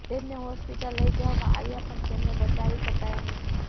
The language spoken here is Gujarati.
તેમને હોસ્પિટલ લઈ જવામાં આવ્યા પણ તેમણે બચાવી શકાયા નહી